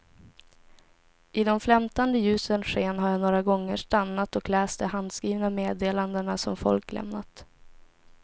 I de flämtande ljusens sken har jag några gånger stannat och läst de handskrivna meddelandena som folk lämnat.